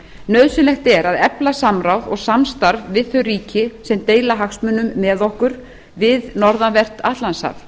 nauðsynlegt er að efla samráð og samstarf við þau ríki sem deila hagsmunum með okkur við norðanvert atlantshaf